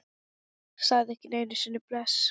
Sagði ekki einu sinni bless.